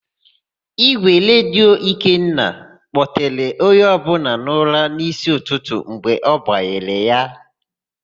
Ígwèredio Ikenna kpọtere onye ọbụla n'ụra n'ísí ụtụtụ mgbe ọ gbanyere ya.